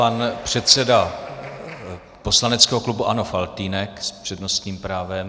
Pan předseda poslaneckého klubu ANO Faltýnek s přednostním právem.